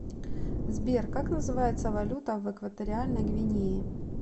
сбер как называется валюта в экваториальной гвинее